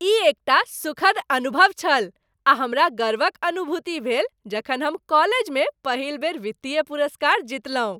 ई एकटा सुखद अनुभव छल आ हमरा गर्वक अनुभूति भेल जखन हम कॉलेजमे पहिल बेर वित्तीय पुरस्कार जीतलहुँ।